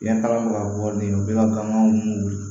Biyɛn kala bɛ ka bɔ nin ye u bɛ ka gan mun wili